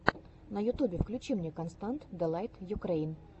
на ютюбе включи мне констант дэлайт юкрэйн